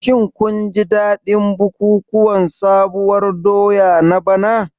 Shin kun ji dadin bukukuwan sabuwar doya na bana?